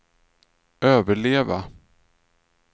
överleva